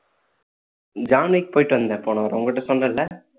John Wick போயிட்டு வந்தேன் போன வாரம் உன் கிட்ட சொன்னேன் இல்ல